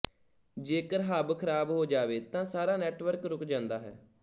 ਜੇਕਰ ਹਬ ਖ਼ਰਾਬ ਹੋ ਜਾਵੇ ਤਾ ਸਾਰਾ ਨੈੱਟਵਰਕ ਰੁਕ ਜਾਂਦਾ ਹੈ